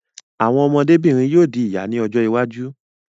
Àwọn ọmọdé-bìnrin yóò di ìyá ní ọjọ́ iwájú.